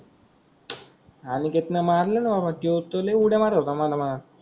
अनिकेत न मारलन बाबा त्यो त्यो लय उळ्या मारत होता मनमान.